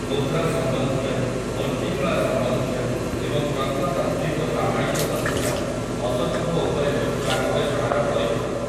ମୁଦ୍ରା ସମ୍ବନ୍ଧୀୟ, ମୂର୍ତ୍ତିକଳା ସମ୍ବନ୍ଧୀୟ ଏବଂ ପ୍ରତ୍ନତାତ୍ତ୍ୱିକ ପ୍ରମାଣିକ ତଥ୍ୟ ଅଶୋକଙ୍କ ଉପରେ ହୋଇଥିବା ଗବେଷଣାର ପରିପୂରକ ।